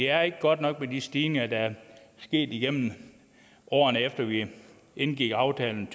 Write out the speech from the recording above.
er ikke godt nok med de stigninger der er sket igennem årene efter at vi indgik aftalen